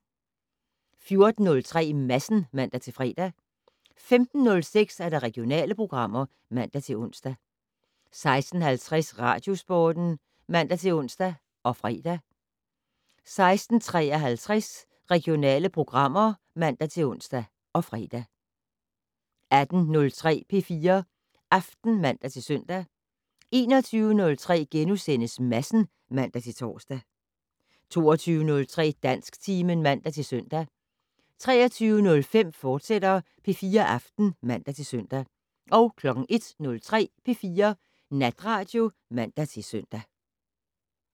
14:03: Madsen (man-fre) 15:06: Regionale programmer (man-ons) 16:50: Radiosporten (man-ons og fre) 16:53: Regionale programmer (man-ons og fre) 18:03: P4 Aften (man-søn) 21:03: Madsen *(man-tor) 22:03: Dansktimen (man-søn) 23:05: P4 Aften, fortsat (man-søn) 01:03: P4 Natradio (man-søn)